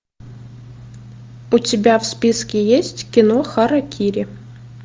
у тебя в списке есть кино харакири